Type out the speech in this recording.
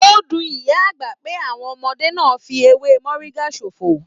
O dùn ìyá àgbà pé àwọn ọmọdé náà fí ewé moringa sófo.